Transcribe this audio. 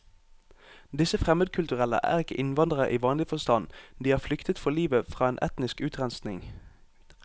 Disse fremmedkulturelle er ikke innvandrere i vanlig forstand, de har flyktet for livet fra en etnisk utrenskning.